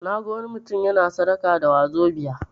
Naga wani mutum yana sadaka da 'wazobia'.